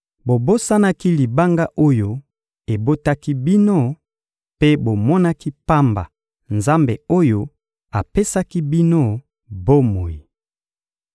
Bobosanaki Libanga oyo ebotaki bino mpe bomonaki pamba Nzambe oyo apesaki bino bomoi.